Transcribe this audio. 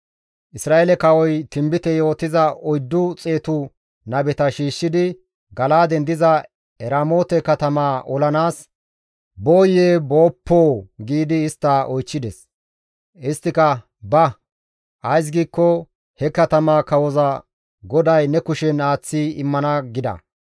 Isra7eele kawoy tinbite yootiza oyddu xeetu nabeta shiishshidi, «Gala7aaden diza Eramoote katamaa olanaas booyee booppoo?» giidi istta oychchides. Isttika, «Ba! Ays giikko he katamaa kawoza GODAY ne kushen aaththi immana» gida.